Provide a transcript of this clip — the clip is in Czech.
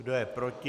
Kdo je proti?